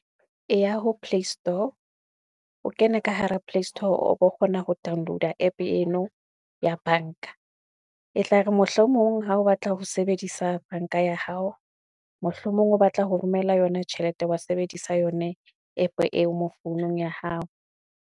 Eya ho playstore, o kene ka hara playstore o bo kgona ho download-a app eno ya banka. E tlare mohlomong ha o batla ho sebedisa banka ya hao, mohlomong o batla ho romela yona tjhelete wa sebedisa yone app eo mo founung ya hao.